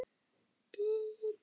Tjaldið fellur.